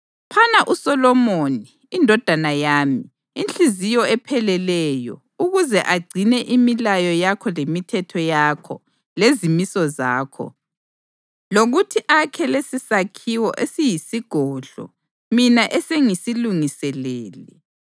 Phana uSolomoni, indodana yami, inhliziyo epheleleyo ukuze agcine imilayo yakho lemithetho yakho lezimiso zakho, lokuthi akhe lesisakhiwo esiyisigodlo mina esengisilungiselele.”